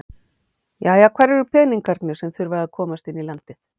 Jæja, hvar eru peningarnir sem að þurfa að komast inn í landið?